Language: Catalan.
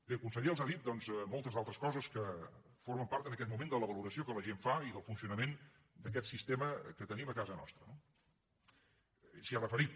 bé el conseller els ha dit doncs moltes d’altres coses que formen part en aquest moment de la valoració que la gent fa i del funcionament d’aquest sistema que tenim a casa nostra no ell s’hi ha referit